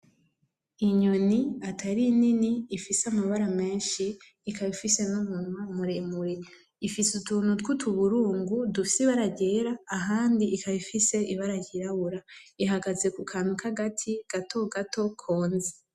Inyoni atari nini ifise amabara meshi ikaba ifise n'umunwa muremure. Ifise utuntu tw'utuburungu dufise ibara ryera ahandi ikaba ifise ibara ryirabura. Ihagaze kukantu k'agati gatogato konze.